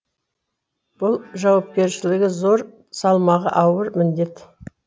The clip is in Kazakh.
бұл жауапкершілігі зор салмағы ауыр міндет